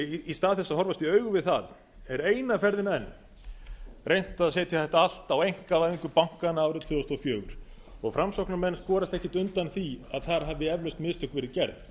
í stað þess að horfast í augu við það er eina ferðina enn reynt að setja þetta allt á einkavæðingu bankanna árið tvö þúsund og fjögur framsóknarmenn skorast ekkert undan því að þar hafi eflaust mistök verið gerð